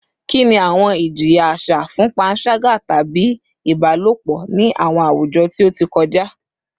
Kini awọn ijiya aṣa fun panṣaga tabi ibalopọ ni awọn awujọ ti o ti kọja?